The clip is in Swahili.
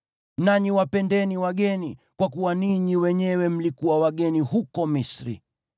Nanyi wapendeni wageni, kwa kuwa ninyi wenyewe mlikuwa wageni huko Misri.